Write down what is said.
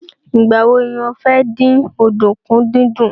Ìgbà wo ni o fẹ́ dín ọ̀dùnkún dídún?